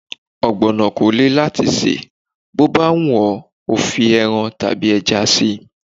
Ọ̀gbọ̀nọ̀ kò le láti sè, bó bá wù ọ́ fi ẹran tàbí ẹja síi.